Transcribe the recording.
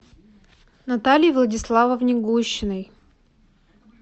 наталье владиславовне гущиной